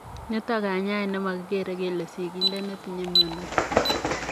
Nitok kanyaet nemakikeree kelee sigindet netinyee mionotok.